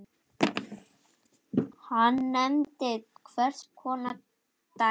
Hann nefnir tvenns konar dæmi